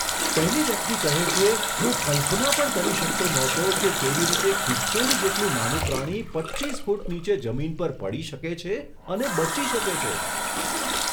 પહેલી વ્યક્તિ કહે છે, હું કલ્પના પણ કરી શકતો નહોતો કે કેવી રીતે ખિસકોલી જેટલું નાનું પ્રાણી પચ્ચીસ ફૂટ નીચે જમીન પર પડી શકે છે અને બચી શકે છે.